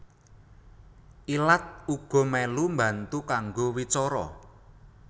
Ilat uga mèlu mbantu kanggo wicara